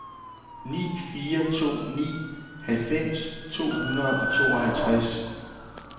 ni fire to ni halvfems to hundrede og tooghalvtreds